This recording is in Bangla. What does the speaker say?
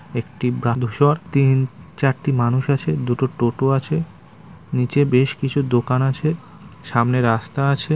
একটি বালুচর তিন চারটি মানুষ আছে দুটো টোটো আছে নিচে বেশ কিছু দোকান আছে সামনে রাস্তা আছে।